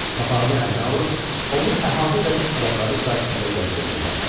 Papağını əlinə alıb, onu əhatə edən adamların qarşısında gəzdirməyə başladı.